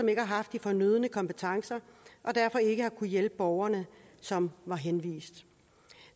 ikke har haft de fornødne kompetencer og derfor ikke har kunnet hjælpe de borgere som var blevet henvist